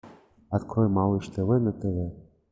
открой малыш тв на тв